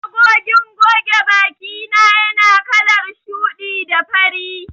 Magogin goge bakina yana kalar shuɗi da fari.